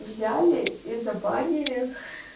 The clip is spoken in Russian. взяли и забанили